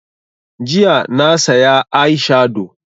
Jiya na saya eye shado